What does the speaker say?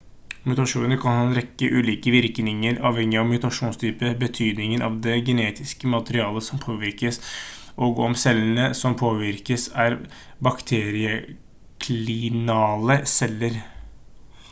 mutasjoner kan ha en rekke ulike virkninger avhengig av mutasjonstype betydningen av det genetiske materialet som påvirkes og om cellene som påvirkes er bakterieklinale celler